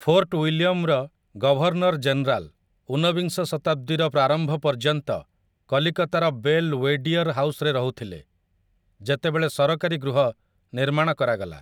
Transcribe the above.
Fort ୱିଲିୟମ୍‌ର governor general ଉନବିଂଶ ଶତାବ୍ଦୀର ପ୍ରାରମ୍ଭ ପର୍ଯ୍ୟନ୍ତ କଲିକତାର ବେଲ୍ୱେଡିୟର୍ ହାଉସ୍‌ରେ ରହୁଥିଲେ, ଯେତେବେଳେ ସରକାରୀ ଗୃହ ନିର୍ମାଣ କରାଗଲା ।